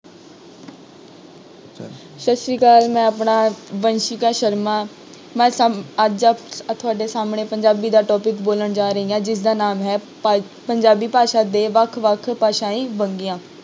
ਸਤਿ ਸ੍ਰੀ ਅਕਾਲ ਮੈਂ ਆਪਣਾ ਵੰਸ਼ਿਕਾ ਸ਼ਰਮਾ, ਮੈਂ ਸਮ~ ਅੱਜ ਤੁਹਾਡੇ ਸਾਹਮਣੇ ਪੰਜਾਬੀ ਦਾ topic ਬੋਲਣ ਜਾ ਰਹੀ ਹਾਂ ਜਿਸਦਾ ਨਾਮ ਹੈ ਭਾ~ ਪੰਜਾਬੀ ਭਾਸ਼ਾ ਦੇ ਵੱਖ ਵੱਖ ਭਾਸ਼ਾਈ ਵੰਨਗੀਆਂ